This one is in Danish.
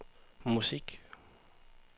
musik